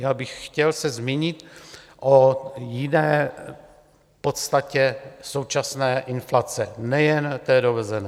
Já bych se chtěl zmínit o jiné podstatě současné inflace, nejen té dovezené.